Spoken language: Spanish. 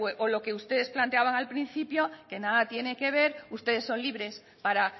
o lo que ustedes planteaban al principio que nada tiene que ver ustedes son libres para